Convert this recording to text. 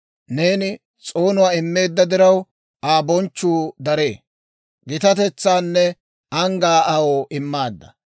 Neeni s'oonuwaa immeedda diraw, Aa bonchchuu daree; gitatetsaanne anggaa aw immaadda.